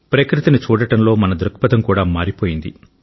ప్రకృతిని చూడడంలో మన దృక్పథం కూడా మారిపోయింది